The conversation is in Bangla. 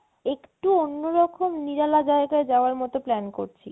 একটু অন্যরকম নিরালা জায়গায় যাওয়ার মতো plan করছি